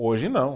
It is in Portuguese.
Hoje não.